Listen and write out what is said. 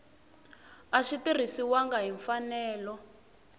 a swi tirhisiwangi hi mfanelo